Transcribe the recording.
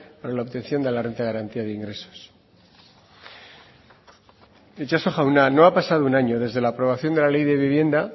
para la obtención de la renta de garantía de ingresos itxaso jauna no ha pasado un año desde la aprobación de la ley de vivienda